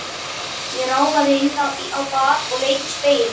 Ég ráfaði inn á bað og leit í spegilinn.